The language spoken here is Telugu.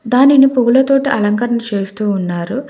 దానిని పూలతోటి అలంకరణ చేస్తూ ఉన్నారు.